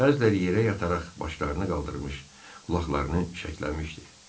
Bəziləri yerə yatararaq başlarını qaldırmış, qulaqlarını şəkləmişdi.